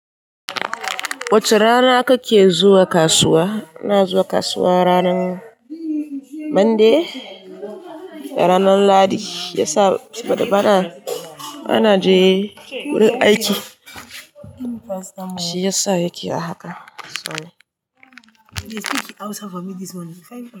Wace rana kake zuwa kasuwa? Ina zuwa kasuwa ranar Monday da ranar lahadi. Ya sa bana, bana je wurin aiki shiyasa yake a haka.